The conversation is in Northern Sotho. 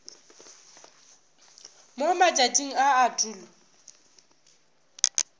mo matšatšing a a tulo